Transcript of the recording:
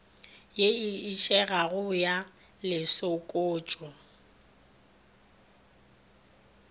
ye e išegago ya lešokotšo